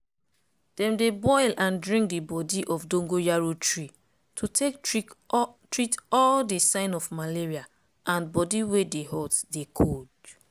dem dey boil and drink di bodi of dongoyaro tree to take treat all di sign of malaria and bodi wey dey hot dey cold.